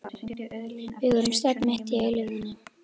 Við vorum stödd mitt í eilífðinni.